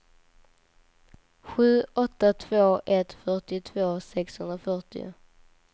sju åtta två ett fyrtiotvå sexhundrafyrtio